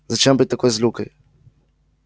зачем быть такой злюкой